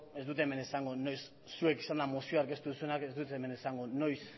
ez dut hemen esango noiz zuek zelan mozioa aurkeztu duzuenak ez dut hemen esango noiz